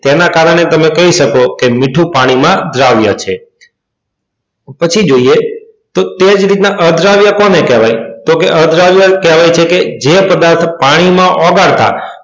તેના કારણે તમે કહી શકો કે મીઠું એ પાણીમાં દ્રાવ્ય છે. પછી જોઈએ તો તે જ રીતના અદ્રાવ્ય કોને કહેવાય તો કે અદ્રાવ્ય કહેવાય છે કે જે પદાર્થ પાણીમાં ઓગાળતા,